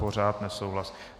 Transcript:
Pořád nesouhlas.